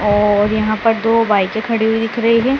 और यहां पर दो बाइकें खड़ी हुई दिख रही है।